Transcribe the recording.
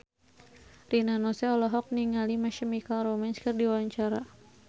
Rina Nose olohok ningali My Chemical Romance keur diwawancara